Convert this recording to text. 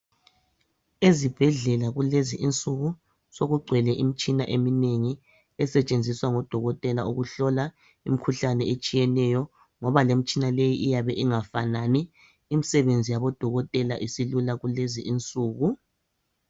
Ezibhedlela kulezinsuku sokugcwele imitshina eminengi esetshenziswa ngodokotela ukuhlola imikhuhlane etshiyeneyo ngoba lemtshina leyi iyabe ingafanani. Imsebenzi yabodokotela silula kulezinsuku